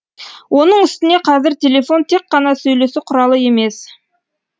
оның үстіне қазір телефон тек қана сөйлесу құралы емес